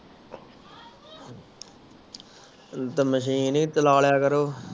machine ਹੀ ਚਲਾ ਲਿਆ ਕਰੋ